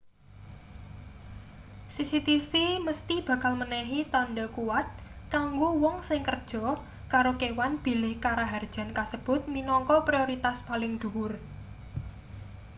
cctv mesthi bakal menehi tandha kuwat kanggo wong sing kerja karo kewan bilih karaharjan kasebut minangka prioritas paling dhuwur